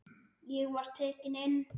Ég var tekinn inn.